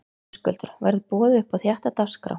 Höskuldur: Verður boðið upp á þétta dagskrá?